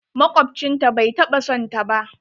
Makwabcin ta bai taɓa son ta ba